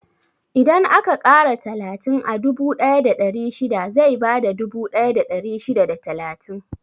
Idan aka ƙara talatin a dubu ɗaya da ɗari shida, zai bada dubu ɗaya da ɗari shida da talatin.